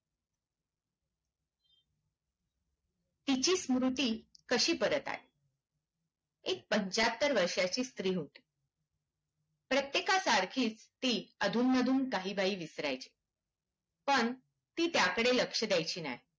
तिची स्फूर्ति कशी परत आली एक पंच्याहत्तर वर्ष्याची स्त्री होती प्रत्येकासारखीच ती अधून मधून काही बाही विसर्‍याची पण ती त्याकडे लक्ष्य द्यायची नाही